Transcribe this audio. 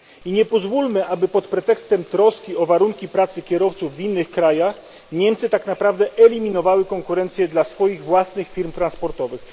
I nie pozwólmy, aby pod pretekstem troski o warunki pracy kierowców w innych krajach Niemcy tak naprawdę eliminowały konkurencję dla swoich własnych firm transportowych.